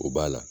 O b'a la